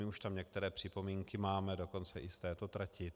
My už tam některé připomínky máme, dokonce i z této trati.